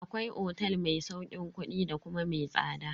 Akwai otel ma sauƙin kudi da kuma mai tsada.